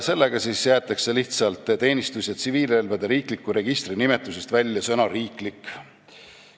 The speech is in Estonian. Sellega jäetakse lihtsalt teenistus- ja tsiviilrelvade riikliku registri nimetusest välja sõna "riiklik".